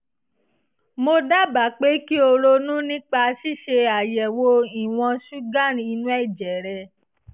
mo dábàá pé kí o ronú nípa ṣíṣe àyẹ̀wò ìwọ̀n ṣúgà inú ẹ̀jẹ̀ rẹ